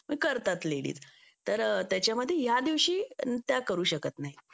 करतात लेडीज त्याच्यामध्ये या दिवशी त्या करू शकत नाही